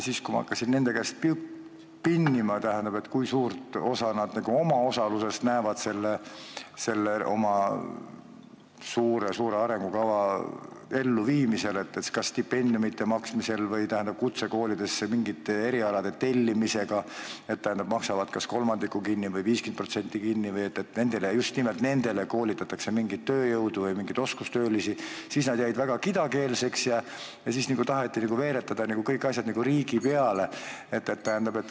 Kui ma hakkasin nende käest pinnima, kui suurt osa nad näevad endal selle oma suure-suure arengukava elluviimisel, kas siis maksavad stipendiume või tellivad kutsekoolidesse mingeid erialasid, maksavad kas kolmandiku või 50% kinni, et just nimelt nendele koolitataks mingit tööjõudu või mingeid oskustöölisi, siis nad jäid väga kidakeelseks ja tahtsid veeretada kõik asjad riigi peale.